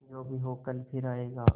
जो भी हो कल फिर आएगा